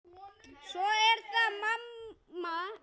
Svo er það amma Mæja.